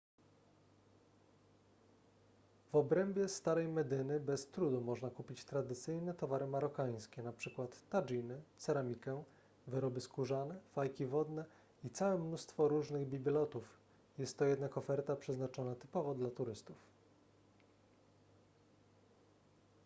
w obrębie starej medyny bez trudu można kupić tradycyjne towary marokańskie np tadżiny ceramikę wyroby skórzane fajki wodne i całe mnóstwo różnych bibelotów jest to jednak oferta przeznaczona typowo dla turystów